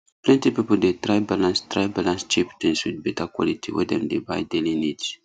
plenty people dey try balance try balance cheap things with better quality when dem dey buy daily needs